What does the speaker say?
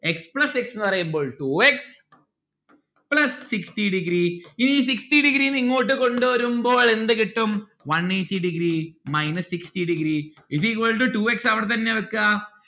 x plus x ന്ന് പറയുമ്പോൾ two x plus sixty degree ഈ sixty degree ന്ന്‌ ഇങ്ങോട്ട് കൊണ്ടുവരുമ്പോൾ എന്ത് കിട്ടും? one eighty degree minus sixty degree is equal to two x അവിടെത്തന്നെ വെക്കാ